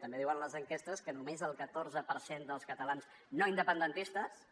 també diuen les enquestes que només el catorze per cent dels catalans no independentistes